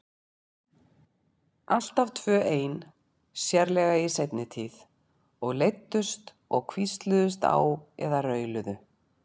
Alltaf tvö ein, sérlega í seinni tíð, og leiddust og hvísluðust á eða rauluðu.